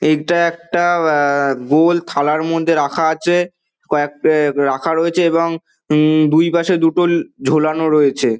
এইটা একটা উমম গোল থালার মধ্যে রাখা আছে কয়েক অম রাখা রয়েছে এবং দুই পশে দুটো ঝোলানো রয়েছে।